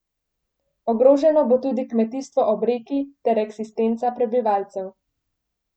Ogroženo bo tudi kmetijstvo ob reki ter eksistenca prebivalcev.